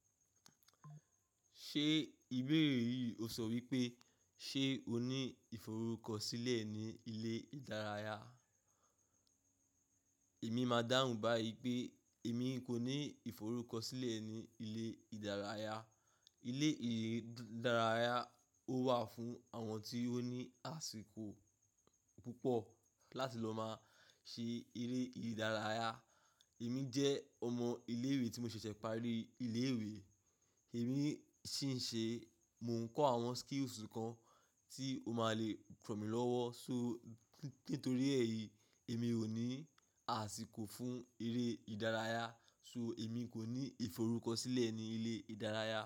Ṣé ìbérè yì ó sọ wípé, ṣé o ní ìforúkọsílẹ̀ ní ilé-ìdárayá? Èmi ma dáhùn báyì pé, èmi kò ní ìforúkọsílẹ̀ ní ilé-ìdárayá. Ilé-ìdárayá ò wà fún àwọn tí ó ní àsìkò púpọ̀ láti lọ ma ṣe eré ìdárayá. Èmi jẹ́ ọmọ ilé-ìwé tí mo ṣẹ̀ṣẹ̀ parí ilé-ìwé. Èmi ṣinṣe, mo ń kọ àwọn skills kan tí ó ma lè ràn mí lọ́wọ́. So nítorí èyí. Èmi ò ní àsìkò fún eré ìdárayá. So. Èmi kò ní ìforúkọsílẹ̀ ní ilé-ìdárayá.